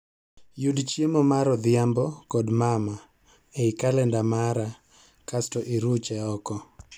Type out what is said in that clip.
Yud chiemo mar odhiambo kod mama ei kalenda mara kasto iruche oko